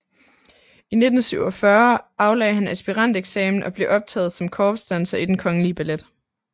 I 1947 aflagde han aspiranteksamen og blev optaget som korpsdanser i Den Kongelige Ballet